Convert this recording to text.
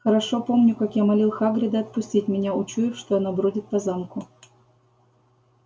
хорошо помню как я молил хагрида отпустить меня учуяв что оно бродит по замку